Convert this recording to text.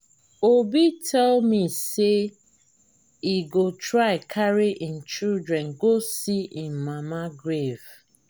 obi tell me say he go try carry im children go see im mama grave